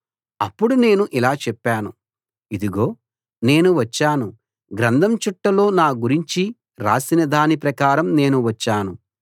అప్పుడు నేను ఇలా చెప్పాను ఇదిగో నేను వచ్చాను గ్రంథం చుట్టలో నా గురించి రాసిన దాని ప్రకారం నేను వచ్చాను